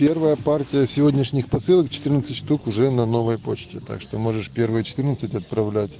первая партия сегодняшних посылок четырнадцать штук уже на новой почте так что можешь первые четырнадцать отправлять